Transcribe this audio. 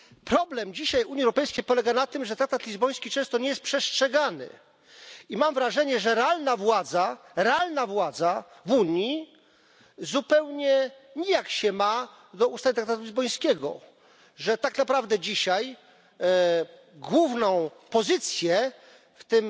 Problem dzisiaj Unii Europejskiej polega na tym, że traktat lizboński często nie jest przestrzegany, i mam wrażenie, że realna władza w Unii zupełnie nijak się ma do ustaw traktatu lizbońskiego, że tak naprawdę dzisiaj główną pozycję w